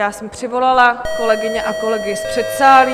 Já jsem přivolala kolegyně a kolegy z předsálí.